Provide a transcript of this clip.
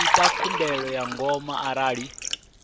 ita khumbelo ya ngomu arali